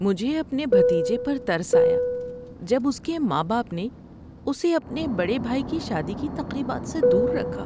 مجھے اپنے بھتیجے پر ترس آیا جب اس کے ماں باپ نے اسے اپنے بڑے بھائی کی شادی کی تقریبات سے دور رکھا۔